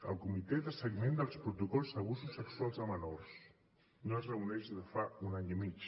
el comitè de seguiment dels protocols d’abusos sexuals a menors no es reuneix des de fa un any i mig